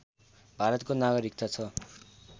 भारतको नागरिकता छ